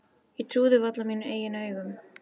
Ég trúði varla mínum eigin augum.